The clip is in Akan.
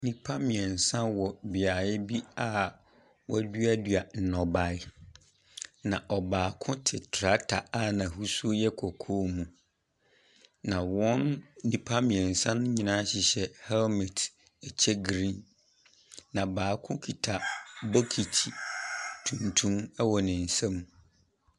Nnipa mmiɛnsa wɔ beaeɛ bi a wodua dua nnɔbae. Na ɔbaako te trakta a n'ahosuo yɛ kɔkɔɔ mu. Na wɔn nnipa mmiɛnsa nyinaa hyehyɛ hɛlmɛt kyɛ griin. Na baako kita bokiti tuntum ɛwɔ ne nsam.